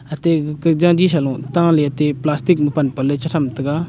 atey gekeh jaji sa lung tole atey plastic ma pan pan le te tham tega.